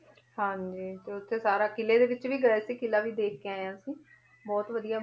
ਹਾਂਜੀ ਤੇ ਉੱਥੇ ਸਾਰਾ ਕਿਲੇ ਦੇ ਵਿੱਚ ਵੀ ਗਏ ਸੀ, ਕਿਲਾ ਵੀ ਦੇਖ ਕੇ ਆਏ ਹਾਂ ਅਸੀਂ ਬਹੁਤ ਵਧੀਆ